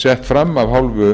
sett fram af hálfu